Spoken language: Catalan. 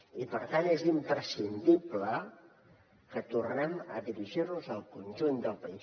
i per tant és imprescindible que tornem a dirigir nos al conjunt del país